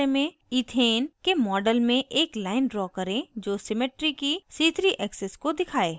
ethane के model में एक लाइन ड्रा करें जो सिमिट्री की c3 एक्सिस को दिखाए